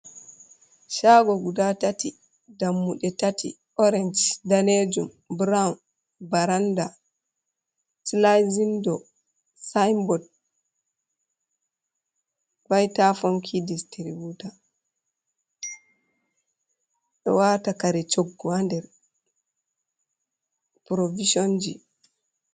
Chago guda tati dammuɗe tati orenge danejum brown, baranda claz windo, sinbort, vhitafhonki distributa, ɗo wata kare coggu ha nder provision ji.